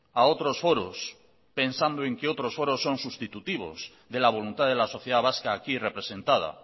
a otros foros pensando en que otros foros son sustitutivos de la voluntad de la sociedad vasca aquí representada